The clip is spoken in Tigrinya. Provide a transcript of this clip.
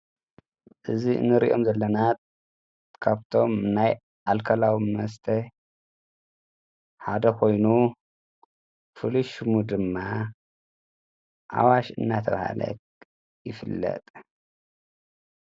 እዚ እንሪኦም ዘለና ካብቶም ናይ ኣልኮላዊ መስተ ሓደ ኮይኑ ፉሉይ ሽሙ ድማ ኣዋሽ እናተባሃለ ይፍለጥ።